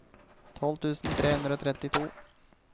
tolv tusen tre hundre og trettito